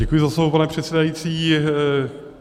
Děkuji za slovo, pane předsedající.